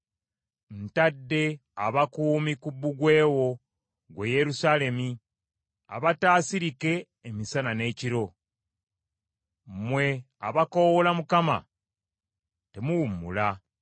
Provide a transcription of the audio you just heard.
Ntadde abakuumi ku bbugwe wo, ggwe Yerusaalemi abataasirike emisana n’ekiro. Mmwe abakoowoola Mukama temuwummula.